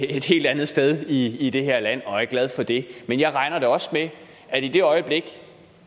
et helt andet sted i det her land og er glad for det men jeg regner da også med at i det øjeblik